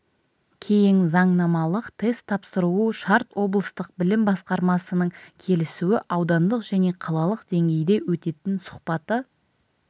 кейін заңнамалық тест тапсыруы шарт облыстық білім басқармасының келісуі аудандық және қалалық деңгейде өтетін сұхбаты